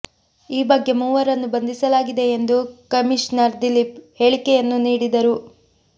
ಈ ಬಗ್ಗೆ ಮೂವರನ್ನು ಬಂಧಿಸಲಾಗಿದೆ ಎಂದು ಕಮಿಷನರ್ ದಿಲೀಪ್ ಹೇಳಿಕೆಯನ್ನೂ ನೀಡಿದ್ದರು